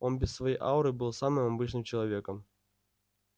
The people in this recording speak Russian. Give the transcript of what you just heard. он без своей ауры был самым обычным человеком